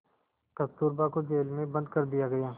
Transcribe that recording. कस्तूरबा को जेल में बंद कर दिया गया